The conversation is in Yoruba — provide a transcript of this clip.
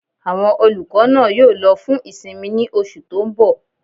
Àwọn olùkọ́ náà yóò lọ fún ìsinmi ní oṣù tó n bọ̀